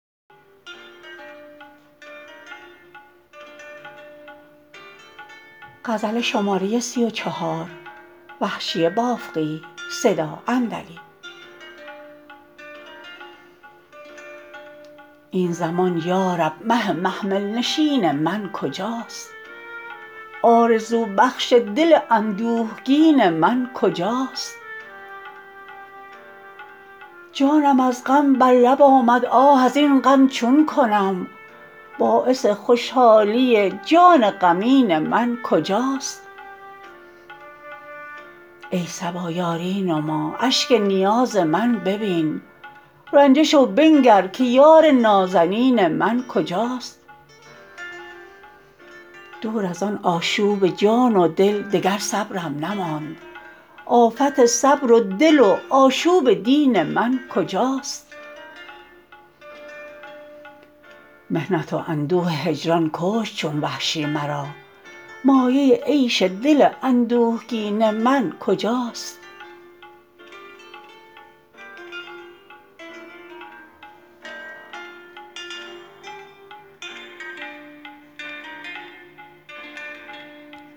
این زمان یارب مه محمل نشین من کجاست آرزو بخش دل اندوهگین من کجاست جانم از غم بر لب آمد آه از این غم چون کنم باعث خوشحالی جان غمین من کجاست ای صبا یاری نما اشک نیاز من ببین رنجه شو بنگر که یار نازنین من کجاست دور از آن آشوب جان و دل دگر صبرم نماند آفت صبر و دل و آشوب دین من کجاست محنت و اندوه هجران کشت چون وحشی مرا مایه عیش دل اندوهگین من کجاست